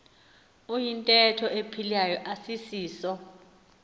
iyintetho ephilayo asisiso